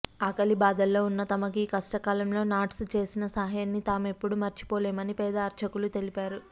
ఆకలిబాధల్లో ఉన్న తమకు ఈ కష్టకాలంలో నాట్స్ చేసిన సాయాన్ని తామెప్పుడూ మరిచిపోలేమని పేద అర్చకులు తెలిపారు